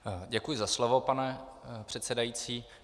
Děkuji za slovo, pane předsedající.